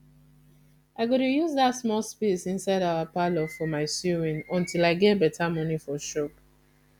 i go dey use dat small space inside our parlour for my sewing until i get better money for shop